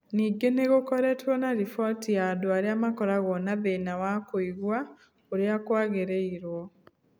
Ningĩ nĩ gũkoretwo na riboti ya andũ arĩa makoragwo na thĩna wa kũigua ũrĩa kwagĩrĩrwo